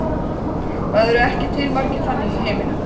Það eru ekki til margir þannig í heiminum.